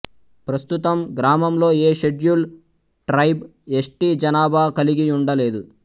ప్రస్తుతం గ్రామంలో ఏ షెడ్యూల్ ట్రైబ్ ఎస్టీ జనాభా కలిగియుండ లేదు